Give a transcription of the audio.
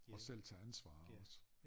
Og selv tage ansvar også